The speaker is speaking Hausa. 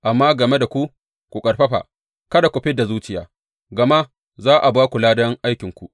Amma game da ku, ku ƙarfafa kada ku fid da zuciya, gama za a ba ku ladan aikinku.